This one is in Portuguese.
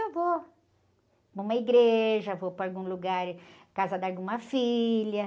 eu vou para uma igreja, vou para algum lugar, ãh, casa de alguma filha.